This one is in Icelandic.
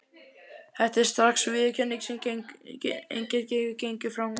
Þetta er strax viðurkenning, sem enginn getur gengið fram hjá.